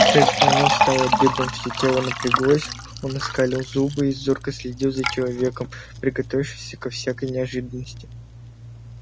шерсть на нём встала дыбом всё тело напряглось он оскалил зубы и зорко следил за человеком приготовившись ко всякой неожиданности